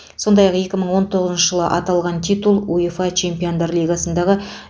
сондай ақ екі мың он тоғызыншы жылы аталған титул уефа чемпиондар лигасындағы